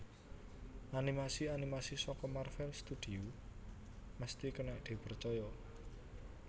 Animasi animasi saka Marvel Studios mesti kenek dipercoyo